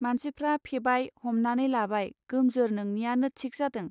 मानसिफ्रा फेबाय हमनानै लाबाय गोमजोर नोंनियानो थिक जादों.